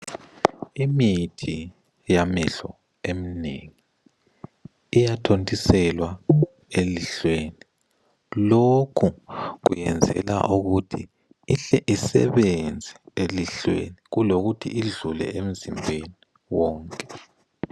Imithi yamehlo eminengi iyathontiselwa elihlweni lokhu kwenzelwa ukuthi ihle isebenze elihlweni kulokuthi idlule emzimbeni wonke.